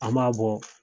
An b'a bɔ